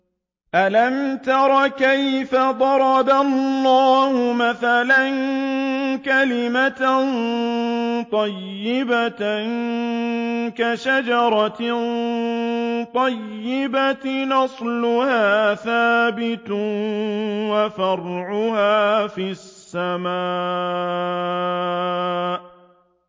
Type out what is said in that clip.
أَلَمْ تَرَ كَيْفَ ضَرَبَ اللَّهُ مَثَلًا كَلِمَةً طَيِّبَةً كَشَجَرَةٍ طَيِّبَةٍ أَصْلُهَا ثَابِتٌ وَفَرْعُهَا فِي السَّمَاءِ